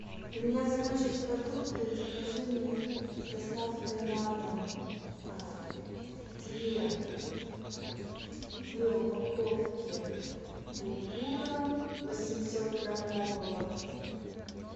у меня закончились продукты закажи мне с доставкой на дом две две упаковки булгура восемьсот граммового